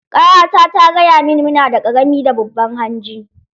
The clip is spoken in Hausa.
Ƙawata ta gaya mini mu nada ƙarami da babban hanji.